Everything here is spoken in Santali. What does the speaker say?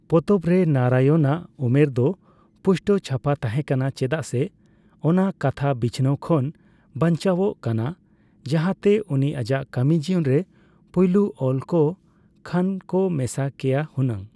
ᱯᱚᱛᱚᱵ ᱨᱮ ᱱᱟᱨᱟᱭᱚᱱ ᱱᱟᱜ ᱩᱢᱚᱨ ᱫᱚ ᱯᱩᱥᱴᱟᱹᱣ ᱪᱷᱟᱯᱟ ᱛᱟᱦᱮᱸ ᱠᱟᱱᱟ ᱪᱮᱫᱟᱜ ᱥᱮ ᱚᱱᱟ ᱠᱟᱛᱷᱟ ᱵᱤᱪᱷᱱᱟᱹᱣ ᱠᱷᱚᱱ ᱵᱟᱱᱪᱟᱣᱚᱜ ᱠᱟᱱᱟ, ᱡᱟᱦᱟᱛᱮ ᱩᱱᱤ ᱟᱡᱟᱜ ᱠᱟᱹᱢᱤ ᱡᱤᱭᱚᱱ ᱨᱮ ᱯᱩᱭᱞᱳ ᱚᱞ ᱠᱚᱜ ᱠᱷᱟᱱ ᱠᱚ ᱢᱮᱥᱟ ᱠᱮᱭᱟ ᱦᱩᱱᱟᱹᱝ᱾